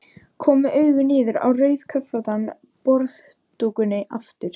Kom með augun niður á rauðköflóttan borðdúkinn aftur.